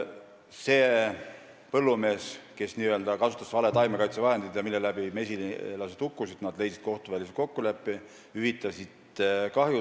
See põllumees, kes kasutas vale taimekaitsevahendit, mille pärast mesilased hukkusid, jõudis mesilaspere omanikuga kohtuvälisele kokkuleppele ja hüvitas talle kahju.